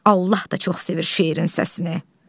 Allah da çox sevir şeirin səsini.